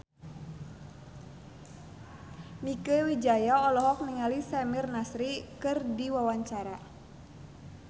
Mieke Wijaya olohok ningali Samir Nasri keur diwawancara